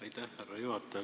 Aitäh, härra juhataja!